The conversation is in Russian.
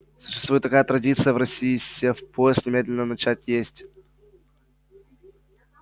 существует такая традиция в россии сев в поезд немедленно начать есть